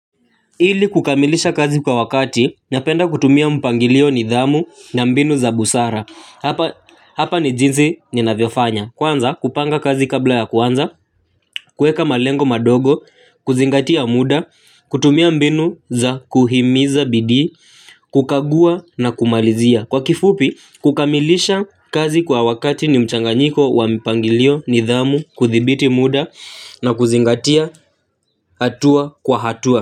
Ili kukamilisha kazi kwa wakati, napenda kutumia mpangilio, nidhamu na mbinu za busara. Hapa ni jinsi ninavyofanya. Kwanza kupanga kazi kabla ya kuanza, kuweka malengo madogo, kuzingatia muda, kutumia mbinu za kuhimiza bidii, kukagua na kumalizia. Kwa kifupi kukamilisha kazi kwa wakati ni mchanganyiko wa mpangilio, nidhamu, kuthibiti muda, na kuzingatia hatua kwa hatua.